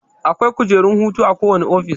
Akwai kujerun hutu a kowane office